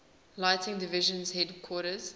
lighting division headquarters